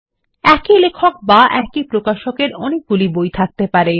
একই লেখক বা একই প্রকাশক এর অনেকগুলি বই আছে থাকতে পারে